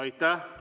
Aitäh!